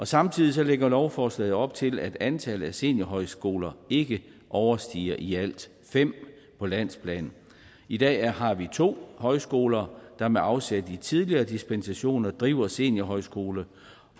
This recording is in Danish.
samtidig lægger lovforslaget op til at antallet af seniorhøjskoler ikke overstiger i alt fem på landsplan i dag har vi to højskoler der med afsæt i tidligere dispensationer driver seniorhøjskole